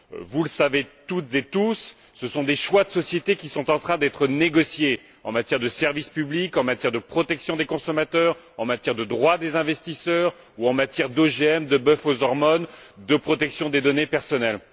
Vous le savez toutes et tous, ce sont des choix de société qui sont en train d'être négociés en matière de services publics, en matière de protection des consommateurs, en matière de droit des investisseurs ou en matière d'OGM, de bœuf aux hormones, de protection des données personnelles.